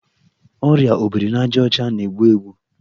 Ọrịa obirinajaọcha na-egbu egbu